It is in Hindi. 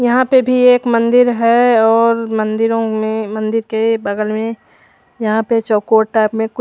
यहाँ पे भी एक मंदिर है और मंदिरो में मंदिर के बगल में यहाँ पे चकोर टाइप में कु--